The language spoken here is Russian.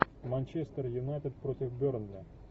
манчестер юнайтед против бернли